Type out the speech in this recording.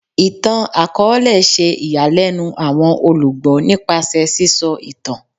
Ìtàn-akọọlẹ ṣe ìyàlẹ́nu àwọn olùgbọ́ nípasẹ̀ sísọ ìtàn